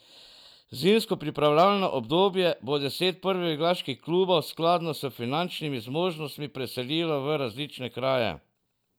Zimsko pripravljalno obdobje bo deset prvoligaških klubov skladno s finančnimi zmožnostmi preselilo v različne kraje.